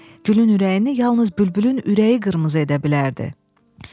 Gülün ürəyini yalnız bülbülün ürəyi qırmızı edə bilərdi.